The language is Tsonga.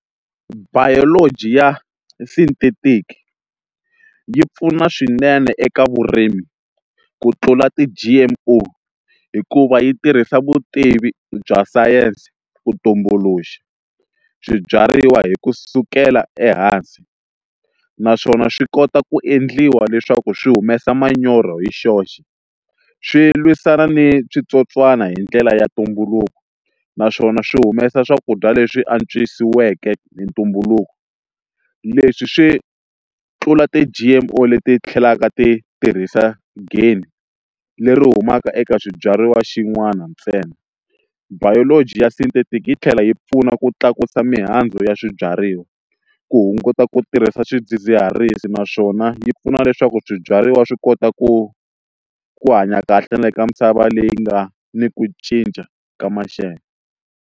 Biology ya synthetic yi pfuna swinene eka vurimi ku tlula ti-G_M_O hikuva yi tirhisa vutivi bya sayense ku tumbuluxa swibyariwa hi kusukela ehansi naswona swi kota ku endliwa leswaku swi humesa manyoro hi xoxe swi lwisana ni switsotswana hi ndlela ya ntumbuluko naswona swi humesa swakudya leswi antswisiweke hi ntumbuluko leswi swi tlula ti-G_M_O leti tlhelaka ti tirhisa game leri humaka eka swibyariwa xin'wana ntsena biology ya synthetic yi tlhela yi pfuna ku tlakusa mihandzu ya swibyariwa ku hunguta ku tirhisa swidzidziharisi naswona yi pfuna leswaku swibyariwa swi kota ku ku hanya kahle na le ka misava leyi nga ni ku cinca ka maxelo.